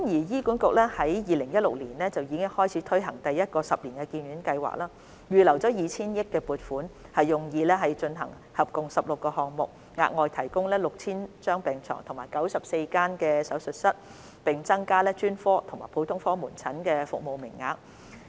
醫管局於2016年開始推行第一個十年醫院發展計劃，並預留 2,000 億元撥款，用以進行合共16個項目，以額外提供逾 6,000 張病床和94間手術室，並增加專科和普通科門診診所的服務名額。